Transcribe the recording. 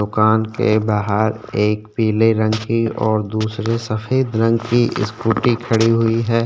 दुकान के बाहर एक पिले रंग की और दूसरी सेफद रंग की स्कुटी खड़ी हुई है।